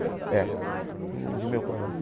É, não vi meu pai mais.